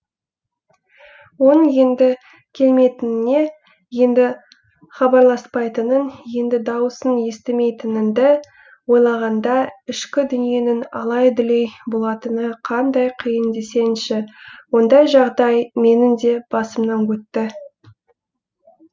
оның енді келмейтініне енді хабарласпайтынын енді даусын естімейтініңді ойлағанда ішкі дүниеңнің алай дүлей болатыны қандай қиын десеңші ондай жағдай менің де басымнан өтті